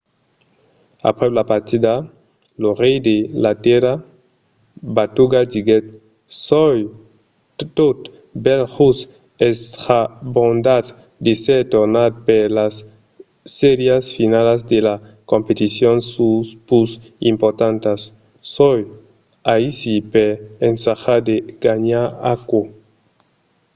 aprèp la partida lo rei de la tèrra batuda diguèt soi tot bèl just estrambordat d'èsser tornat per las sèrias finalas de las competicions pus importantas. soi aicí per ensajar de ganhar aquò.